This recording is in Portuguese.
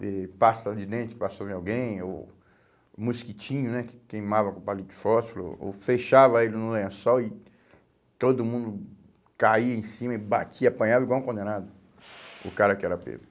de pasta de dente que passou em alguém, ou mosquitinho né que queimava com palito de fósforo, ou fechava ele no lençol e todo mundo caía em cima e batia, apanhava igual um condenado, o cara que era pego.